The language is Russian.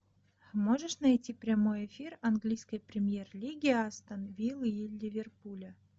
можешь найти прямой эфир английской премьер лиги астон вилла и леверпуля